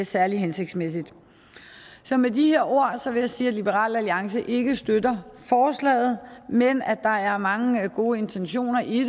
særlig hensigtsmæssigt så med de ord vil jeg sige at liberal alliance ikke støtter forslaget men at der er mange gode intentioner i